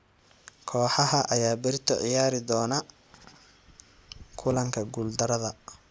Kooxaha ayaa berito ciyaari doona kulanka guul darada.